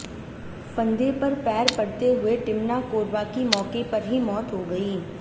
फंदे पर पैर पड़ते हुए टिमना कोरवा की मौके पर ही मौत हो गई